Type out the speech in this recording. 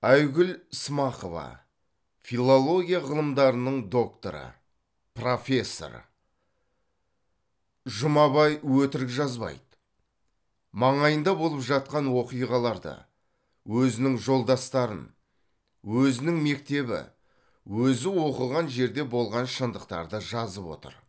айгүл ісмақова филология ғылымдарының докторы профессор жұмабай өтірік жазбайды маңайында болып жатқан оқиғаларды өзінің жолдастарын өзінің мектебі өзі оқыған жерде болған шындықтарды жазып отыр